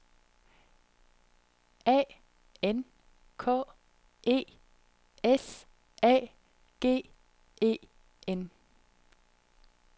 A N K E S A G E N